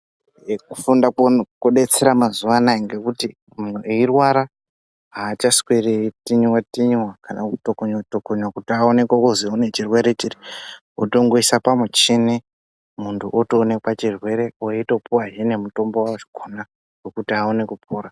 Kufunda kodetsera mazuva anawa ngekuti muntu eirwara hachasweri eitinywa tinywa kana kudhokonywa kuti aonekwen kuti anechirwere kutongoiswa pamuchini muntu otoonekwa chirwere otopuwa mutombo wakona kuti aone kupora.